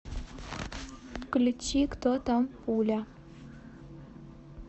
включи кто там пуля